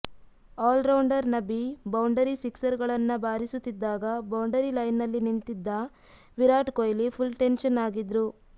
allrounder Nabi boundary ಸಿಕ್ಸರ್ಗಳನ್ನ ಬಾರಿಸುತ್ತಿದ್ದಾಗ boundary ಲೈನ್ನಲ್ಲಿ ನಿಂತಿದ್ದ ವಿರಾಟ್ ಕೊಹ್ಲಿ ಫುಲ್ ಟೆನ್ಷನ್ ಆಗಿದ್ರು